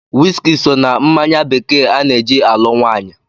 Wiski so na mmanya bekee ana-eji alụ nwaanyị.